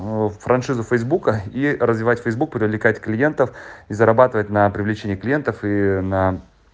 ну франшиза фейсбука и развивать фейсбук привлекать клиентов и зарабатывать на привлечение клиентов и на